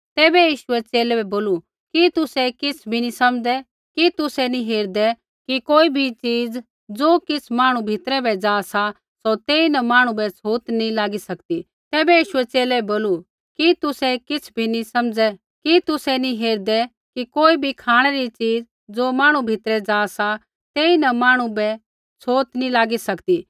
तैबै यीशुऐ च़ेले बै बोलू कि तुसै किछ़ भी नी समझ़ै कि तुसै नी हेरदै कि कोई बी च़ीज़ ज़ो किछ़ मांहणु भीतरै ज़ा सा सौ तेइन मांहणु बै छ़ोत नी लागी सकदी तैबै यीशुऐ च़ेले बै बोलू कि तुसै किछ़ बी नी समझ़ै कि तुसै नी हेरदै कि कोई बी खाँणै री च़ीज़ ज़ो मांहणु भीतरै ज़ा सा तेइन मांहणु बै छ़ोत नी लागी सकदी